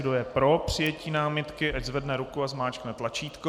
Kdo je pro přijetí námitky, ať zvedne ruku a zmáčkne tlačítko.